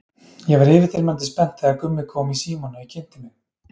Ég var yfirþyrmandi spennt þegar Gummi kom í símann og ég kynnti mig.